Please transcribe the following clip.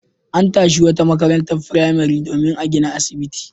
An tashi wata makarantar firamare domin a gina asibiti.